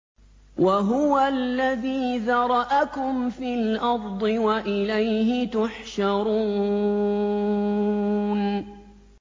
وَهُوَ الَّذِي ذَرَأَكُمْ فِي الْأَرْضِ وَإِلَيْهِ تُحْشَرُونَ